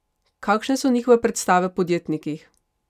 Kakšne so njihove predstave o podjetnikih?